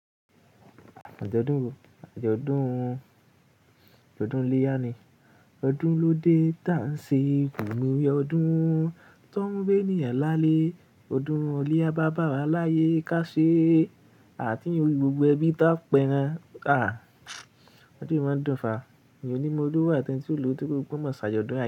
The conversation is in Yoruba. Àjọ̀dún, àjọ̀dún, àjọ̀dún iléyá ni ọdún lóde tá ń ṣe kùn mí oyè ọdún tó ń bé ni ẹ̀lálé, ọdún olé á bá bà wá láyé ká ṣe àti inú rí gbogbo ẹbí tá pẹran. Àh, ọdún yìí máa ń dùn fà, ènìyàn onímọ́ olòwo àti ẹ́ń tí ó lówó torí pé wọ́n mọ̀ ṣàjọ̀dún yẹn.